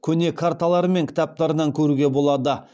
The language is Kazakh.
көне карталары мен кітаптарынан көруге болады